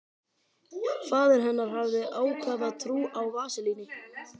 Faðir hennar hafði ákafa trú á vaselíni.